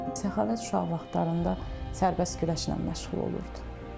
Səxavət uşaq vaxtlarında sərbəst güləşlə məşğul olurdu.